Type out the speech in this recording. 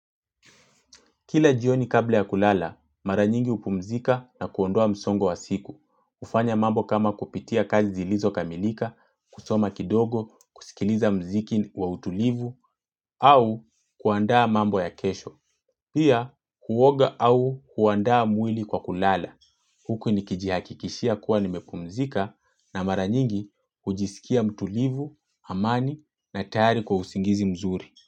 Kila jioni kabla ya kulala, mara nyingi hupumzika na kuondoa msongo wa siku. Hufanya mambo kama kupitia kazi zilizo kamilika, kusoma kidogo, kusikiliza mziki wa utulivu, au kuandaa mambo ya kesho. Pia, kuoga au kuandaa mwili kwa kulala. Huku nikijihakikishia kuwa nimepumzika na mara nyingi hujisikia mtulivu, amani na tayari kwa usingizi mzuri.